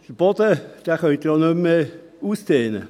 Den Boden kann man auch nicht mehr ausdehnen.